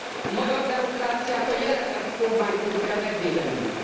A magyar demokráciát a jelenlegi kormánytól kell megvédenünk.